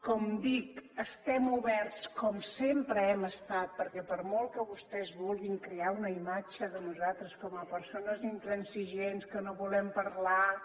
com dic estem oberts com sempre ho hem estat perquè per molt que vostès vulguin crear una imatge de nosaltres com a persones intransigents que no volem parlar que